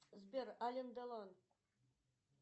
сбер ален делон